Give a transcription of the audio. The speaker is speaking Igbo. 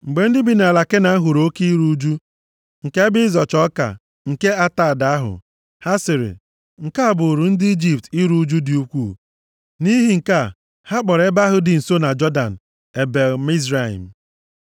Mgbe ndị bi nʼala Kenan hụrụ oke iru ụjụ nke ebe ịzọcha ọka nke Atad ahụ, ha sịrị, “Nke a bụụrụ ndị Ijipt iru ụjụ dị ukwuu.” Nʼihi nke a, ha kpọrọ ebe ahụ dị nso na Jọdan Ebel-Mizraim.